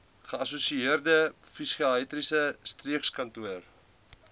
geassosieerde psigiatriese streekkantoor